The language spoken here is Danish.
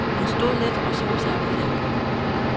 Hun stod lidt og så sig omkring.